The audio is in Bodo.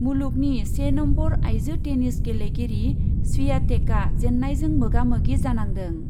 मुलुगनि से नम्बर आइजो टेनिस गेलेगिरि स्वियातेकआ जेन्नायजों मोगा मोगि जानांदों।